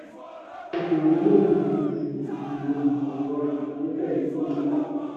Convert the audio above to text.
òkòòwò lè gbógun ti ìṣòro ìmọ̀-ẹ̀rọ ìró pẹ̀lú ai.